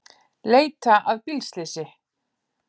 Leita að bílslysi